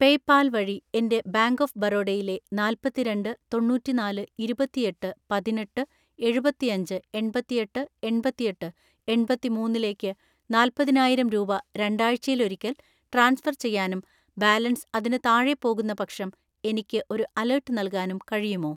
PayPal വഴി എൻ്റെ bank of ബറോഡയിലെ നാല്‍പത്തിരണ്ട് തൊണ്ണൂറ്റിനാല് ഇരുപത്തിഎട്ട് പതിനെട്ട് എഴുപത്തിഅഞ്ച് എൺപത്തിഎട്ട് എൺപത്തിഎട്ട് എണ്‍പത്തിമൂന്നിലേക്ക് നാല്പതിനായിരം രൂപ രണ്ടാഴ്‌ചയിലൊരിക്കൽ ട്രാൻസ്ഫർ ചെയ്യാനും ബാലൻസ് അതിന് താഴെ പോകുന്നപക്ഷം എനിക്ക് ഒരു അലേർട്ട് നൽകാനും കഴിയുമോ?